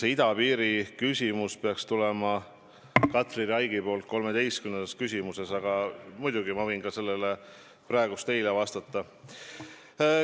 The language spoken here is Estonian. Küsimus idapiiri kohta peaks 13. küsimusena tulema Katri Raigilt, aga muidugi ma võin sellele ka praegu vastata.